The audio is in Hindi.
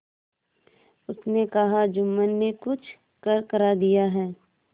उसने कहाजुम्मन ने कुछ करकरा दिया है